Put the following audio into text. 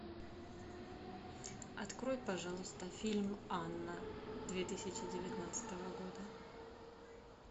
открой пожалуйста фильм анна две тысячи девятнадцатого года